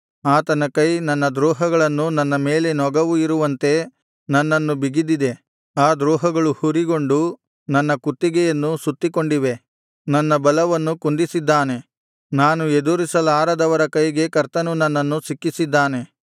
ಆತನ ಕೈ ನನ್ನ ದ್ರೋಹಗಳನ್ನು ನನ್ನ ಮೇಲೆ ನೊಗವು ಇರುವಂತೆ ನನ್ನನ್ನು ಬಿಗಿದಿದೆ ಆ ದ್ರೋಹಗಳು ಹುರಿಗೊಂಡು ನನ್ನ ಕುತ್ತಿಗೆಯನ್ನು ಸುತ್ತಿಕೊಂಡಿವೆ ನನ್ನ ಬಲವನ್ನು ಕುಂದಿಸಿದ್ದಾನೆ ನಾನು ಎದುರಿಸಲಾರದವರ ಕೈಗೆ ಕರ್ತನು ನನ್ನನ್ನು ಸಿಕ್ಕಿಸಿದ್ದಾನೆ